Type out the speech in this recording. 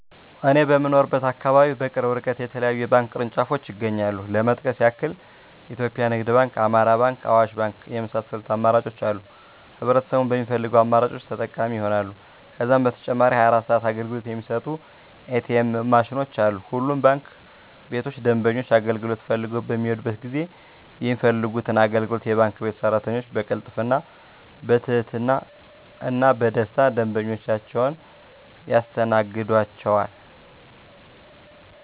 እኔ በምኖርበት አካባቢ በቅርብ እርቀት የተለያዩ የባንክ ቅርንጫፎች ይገኛሉ ለመጥቀስ ያክል ኢትዮጵያ ንግድ ባንክ፣ አማራ ባንክ፣ አዋሽ ባንክ የመሳሰሉት አማራጮች አሉ ህብረተሰቡም በሚፈልገው አማራጮች ተጠቃሚ ይሆናሉ። ከዛም በተጨማሪ 24 ሰዓት አገልግሎት የሚሰጡ ኢ.ቲ. ኤምዎች ማሽኖችም አሉ። ሁሉም ባንክ ቤቶች ደንበኞች አገልግሎት ፈልገው በሚሔዱበት ጊዜ የሚፈልጉትን አገልግሎት የባንክ ቤት ሰራተኞች በቅልጥፍና፣ በትህትና እና በደስታና ደንበኞቻቸውን ያስተናግዷቸዋል! ዠ።